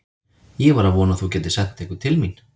Ég var að vona að þú gætir sent einhvern til mín.